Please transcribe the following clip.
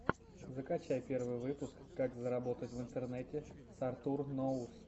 закачай первый выпуск как заработать в интернете с артур ноус